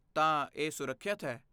ਤਾਂ, ਇਹ ਸੁਰੱਖਿਅਤ ਹੈ।